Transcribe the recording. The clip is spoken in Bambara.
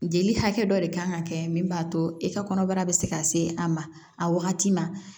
Jeli hakɛ dɔ de kan ka kɛ min b'a to i ka kɔnɔbara bɛ se ka se a ma a wagati ma